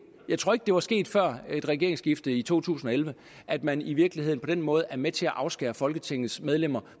jeg tror ikke det var sket før regeringsskiftet i to tusind og elleve at man i virkeligheden på den måde er med til at afskære folketingets medlemmer